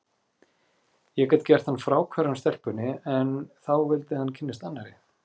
Ég gat gert hann fráhverfan stelpunni, en þá vildi hann kynnast annarri.